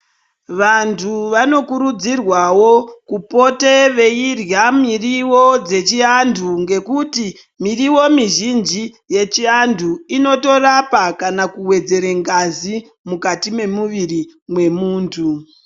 Vantu vano kurudzirwawo kupote veirya miriwo dzechi antu ngekuti miriyo mi zhinji yechi antu inoto rapa kana kuwedzere ngazi mukati me muviri mwe muntu.